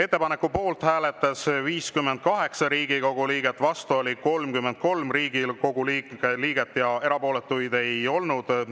Ettepaneku poolt hääletas 58 Riigikogu liiget, vastu oli 33 Riigikogu liiget ja erapooletuid ei olnud.